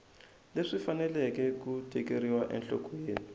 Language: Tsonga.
leswi faneleke ku tekeriwa enhlokweni